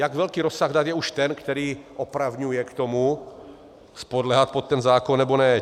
Jak velký rozsah dat je už ten, který opravňuje k tomu podléhat pod ten zákon nebo ne?